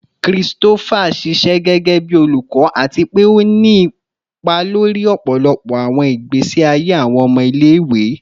Christopher ṣiṣẹ gẹgẹbi olukọ ati pe o ni ipa lori ọpọlọpọ awọn igbesi aye awọn ọmọ ile-iwe